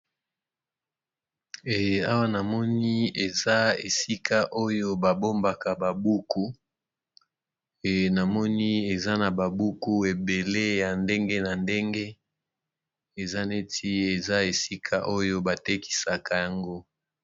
Awa na moni eza esika oyo ba bombaka ba buku, navmoni eza na ba buku ébélé ya ndenge na ndenge, eza neti eza esika oyo ba tekisaka yango .